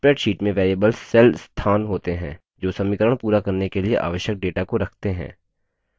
spreadsheet में variables cell स्थान होते हैं जो समीकरण पूरा करने के लिए आवश्यक data को रखते हैं